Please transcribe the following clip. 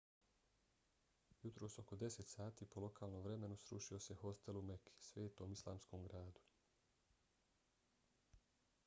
jutros oko 10 sati po lokalnom vremenu srušio se hostel u meki svetom islamskom gradu